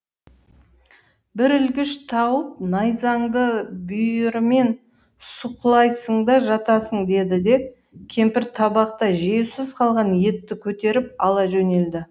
бір ілгіш тауып найзаңды бүйірімен сұқылайсың да жатасың деді де кемпір табақта жеусіз қалған етті көтеріп ала жөнелді